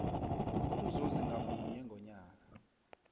umzuzi ngamunye ngomnyaka